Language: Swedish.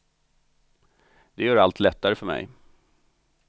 Det gör allt lättare för mig.